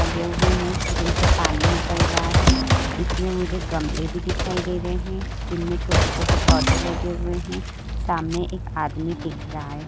लगे हुए हैं जिनसे पानी निकल रहा हैं। इसमें मुझे गमले भी दिखाई दे रहे हैं जिनमें छोटे-छोटे पौधे लगे हुए हैं। सामने एक आदमी दिख रहा हैं।